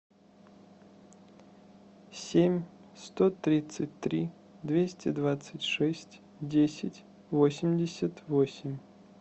семь сто тридцать три двести двадцать шесть десять восемьдесят восемь